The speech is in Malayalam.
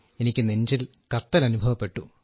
എനിക്ക് നെഞ്ചിൽ കത്തൽ അനുഭവപ്പെട്ടു